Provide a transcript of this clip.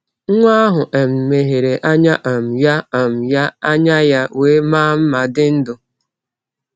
Nwa ahụ um meghere anya um ya, um ya, anya ya wee maa mma dị ndụ.